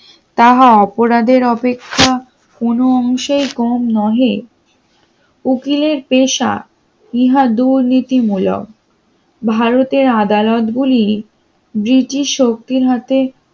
তাহা অপরাধের অপেক্ষা কোন অংশেই কম নহে উকিলের পেশা ইহা দুর্নীতি মূলক ভারতের আদালত গুলি, ব্রিটিশ শক্তির হাতে